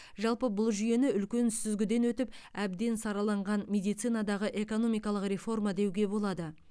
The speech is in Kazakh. жалпы бұл жүйені үлкен сүзгіден өтіп әбден сараланған медицинадағы экономикалық реформа деуге болады